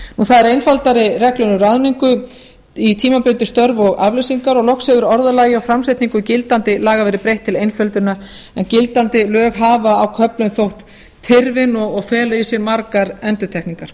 það eru einfaldari reglur um ráðningu í tímabundin störf og afleysingar og loks hefur orðalagi og framsetningu gildandi laga verið breytt til einföldunar en gildandi lög hafa á köflum þótt tyrfin og fela í sér margar endurtekningar